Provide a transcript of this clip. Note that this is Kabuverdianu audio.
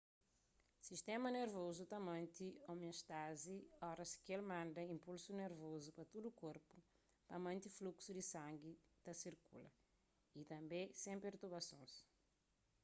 sistéma nervozu ta mante omiostázi oras ki el manda inpulsus nervozu pa tudu korpu pa mante fluksu di sangi ta sirkula y tanbê sen pertubasons